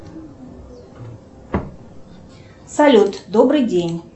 салют добрый день